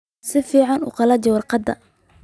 Si fiican u qalaji warqadda